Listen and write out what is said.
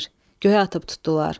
Göyə atıb tutdular.